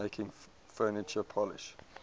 making furniture polish